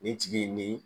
Nin tigi nin